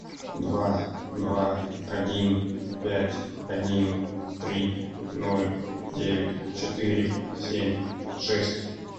два два один пять один три ноль девять четыре семь шесть